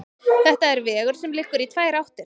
Þetta er vegur sem liggur í tvær áttir.